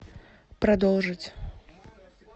продолжить